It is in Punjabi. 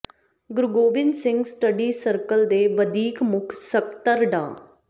ਗੁਰੂ ਗੋਬਿੰਦ ਸਿੰਘ ਸਟੱਡੀ ਸਰਕਲ ਦੇ ਵਧੀਕ ਮੁੱਖ ਸਕੱਤਰ ਡਾ